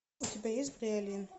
у тебя есть бриолин